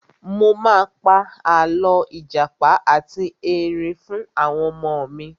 Mo pa àlọ́ ìjàpá ati Ẹrin fún àwọn ọmọ mi.